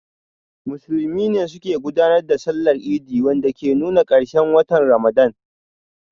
Musulmi ne suke gudanar da Sallar Idi, wanda ke nuna karshen watan Ramadan.